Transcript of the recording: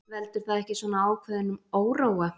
Veldur það ekki svona ákveðnum óróa?